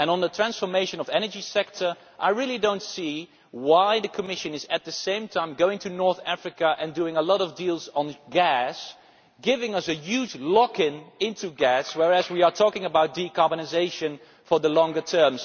On the question of the transformation of the energy sector, I do not see why the Commission is, at the same time, going to North Africa and doing a lot of deals on gas giving us a huge lock in to gas whereas we are talking about decarbonisation for the longer term.